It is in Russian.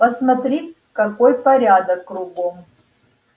посмотри какой порядок кругом